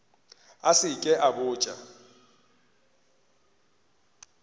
a se ke a botša